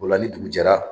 O la ni dugu jɛra